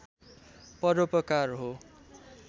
परोपकार हो